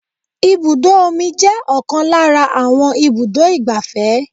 Ibùdó omi jẹ́ ọ̀kan lára àwọn ibùdó igbàfẹ́.